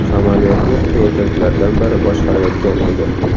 Samolyotni erkaklardan biri boshqarayotgan edi.